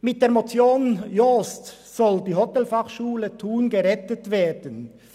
Mit der Motion Jost soll die Hotelfachschule Thun gerettet werden.